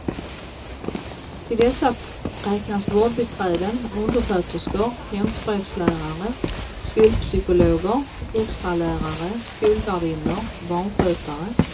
Till dessa räknas vårdbiträden, undersköterskor, hemspråkslärare, skolpsykologer, extralärare, skolvärdinnor, barnskötare.